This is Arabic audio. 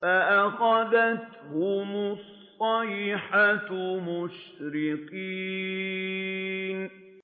فَأَخَذَتْهُمُ الصَّيْحَةُ مُشْرِقِينَ